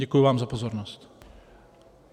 Děkuji vám za pozornost.